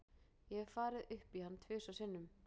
Ég hef farið upp í hann tvisvar sinnum.